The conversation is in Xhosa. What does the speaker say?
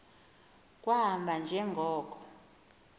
kwahamba nje ngoko